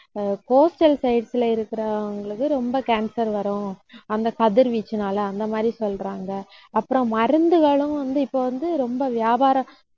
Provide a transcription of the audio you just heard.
coastal sites ல இருக்கிறவங்களுக்கு ரொம்ப cancer வரும். அந்தக் கதிர்வீச்சுனால அந்த மாதிரி சொல்றாங்க. அப்புறம், மருந்துகளும் வந்து இப்ப வந்து ரொம்ப வியாபார